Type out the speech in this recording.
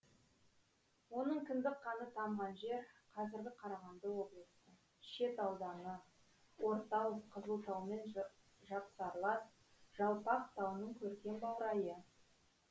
оның кіндік қаны тамған жер қазіргі қарағанды облысы шет ауданы ортау қызылтаумен жапсарлас жалпақ тауының көркем баурайы